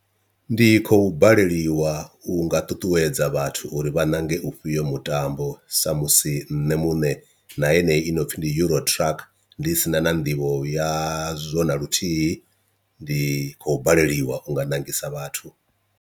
Ndi khou baleliwa u nga ṱuṱuwedza vhathu uri vha ṋange ufhio mutambo, sa musi nṋe muṋe na yeneyi i no pfhi ndi euro truck ndi sina na nḓivho ya zwo na luthihi ndi khou baleliwa u nga ṋangisa vhathu.